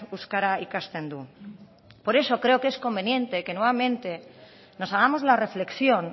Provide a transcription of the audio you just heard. euskara ikasten du por eso creo que es conveniente que nuevamente nos hagamos la reflexión